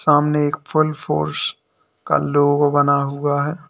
सामने एक फूल फोर्स का लोगो बना हुआ है।